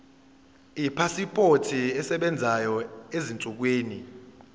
ipasipoti esebenzayo ezinsukwini